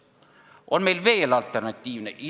On meil veel alternatiive?